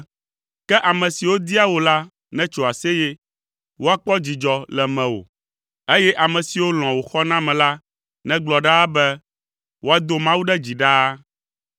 Ke ame siwo dia wò la netso aseye; woakpɔ dzidzɔ le mewò, eye ame siwo lɔ̃a wò xɔname la negblɔ ɖaa be, “Woado Mawu ɖe dzi ɖaa!”